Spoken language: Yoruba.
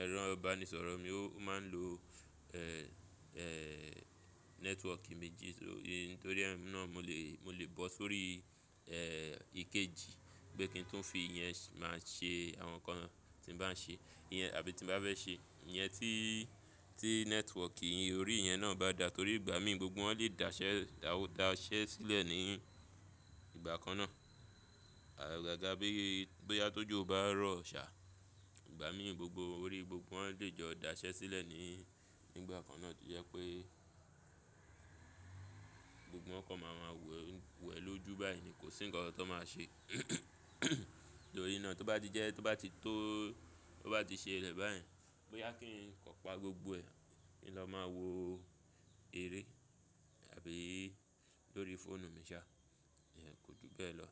ẹ̀rọ ìbánisọ̀rọ̀ mi ó máa ń lo ẹ́ ẹ́ network méjì sórí, nítorí ẹ́ náà mo lè mo lè bọ́ sórí ẹ́ ìkejì bí kí ń tún fi iyẹn máa ṣe àwọn ǹkan tí n bá ń ṣe. Iyẹn àbí tí n bá fẹ́ ṣe. Iyẹn tí tí network ìyẹn orí yẹn náà bá da torí ìgbà mí gbogbo wọn lè dàṣẹ́ dàṣẹ́ sílẹ̀ ní ìgbà kan náà. Ọ̀gága bí bóyá tó jù o bá rọ̀ sá, ìgbà mí gbogbo orí gbogbo wọn lè jọ dàṣẹ́ sílẹ̀ ní nígbà kan náà tí ó jẹ́ pé gbogbo wọ́n kàn máa máa wẹ̀ wẹ̀ lójú báyìí ni kò sí ǹkan kan tó máa ṣe. Nítorí náà tó bá ti jẹ́ tó bá ti tó tó bá ti ṣe rẹ̀ báyìí, bóyá kí n kò pa gbogbo ẹ̀ kí n lọ máa wo eré àbí lórí fóònù mi sá, ìyẹn kò ju bẹ́ẹ̀ lọ.